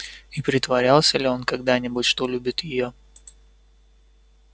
и притворялся ли он когда-нибудь что любит её